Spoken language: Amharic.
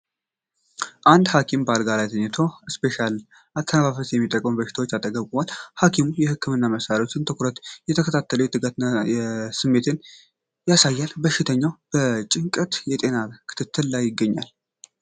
አንድ ሐኪም በአልጋ ላይ ተኝቶ አርቴፊሻል አተነፋፈስ በሚጠቀም በሽተኛ አጠገብ ቆሟል። ሐኪሙ የህክምና መሳሪያዎችን በትኩረት እየተከታተለ የትጋት ስሜትን ያሳያል፤ በሽተኛውም በጭንቀት የጤና ክትትል ላይ ይገኛል።